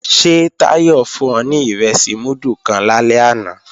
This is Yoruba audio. Ṣé Táyọ̀ fún ọ ní ìrẹsì múdù kan lálẹ́ àná